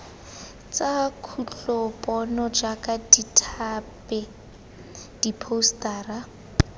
tsa kutlopono jaaka ditphate diphousetara